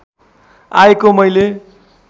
आएको मैले